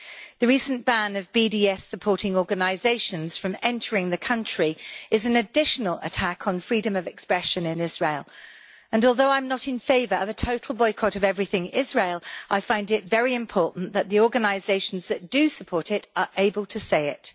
The recent ban on BDS supporting organisations from entering the country is an additional attack on freedom of expression in Israel, and although I am not in favour of a total boycott of everything Israeli, I find it very important that the organisations that do support it are able to say it.